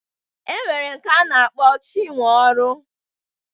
E nwere nke a na-akpọ Chinweọrụ.